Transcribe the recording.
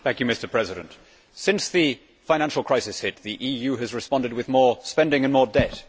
Mr President, since the financial crisis hit, the EU has responded with more spending and more debt.